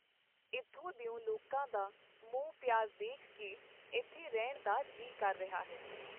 ਇੱਥੋਂ ਦਿਓ ਲੋਕਾਂ ਦਾ ਮੋਹ-ਪਿਆਰ ਦੇਖ ਕੇ ਇੱਥੇ ਰਹਿਣ ਨੂੰ ਜੀਅ ਕਰ ਰਿਹਾ ਹੈ.